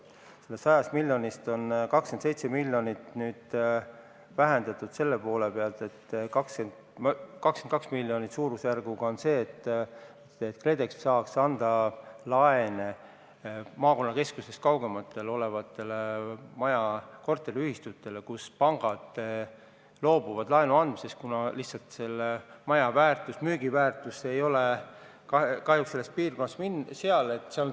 Sellest 100 miljonist on 27 miljonit nüüd vähemaks võetud selle poole pealt, et umbes 22 miljonit on ette nähtud, et KredEx saaks anda laene maakonnakeskusest kaugemal olevatele korteriühistutele, kellele pangad keelduvad laenu andmast, kuna lihtsalt majade müügiväärtus selles piirkonnas on kahjuks väike.